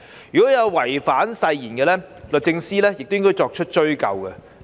如有違反誓言者，律政司司長亦應作出追究。